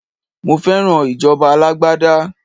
Mo fẹ́ràn ìjọba alágbádá.